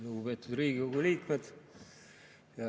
Lugupeetud Riigikogu liikmed!